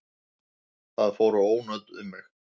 Það fóru ónot um mig.